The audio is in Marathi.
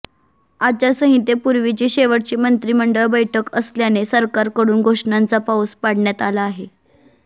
आचारसंहितेपुर्वीची शेवटची मंत्रिमंडळ बैठक असल्याने सरकारकडून घोषणांचा पाऊस पाडण्यात आला आहे